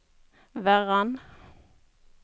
Verran